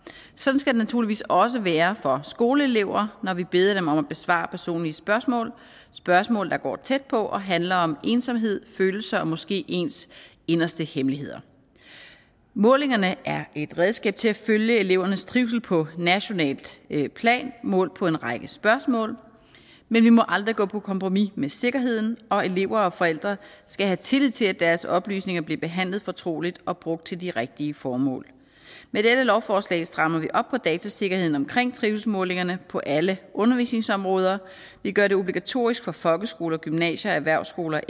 sådan skal det naturligvis også være for skoleelever når vi beder dem om at besvare personlige spørgsmål spørgsmål der går tæt på og handler om ensomhed følelser og måske ens inderste hemmeligheder målingerne er et redskab til at følge elevernes trivsel på nationalt plan målt på en række spørgsmål men vi må aldrig gå på kompromis med sikkerheden og elever og forældre skal have tillid til at deres oplysninger bliver behandlet fortroligt og brugt til de rigtige formål med dette lovforslag strammer vi op på datasikkerheden om trivselsmålingerne på alle undervisningsområder og vi gør det obligatorisk for folkeskoler og gymnasier og erhvervsskoler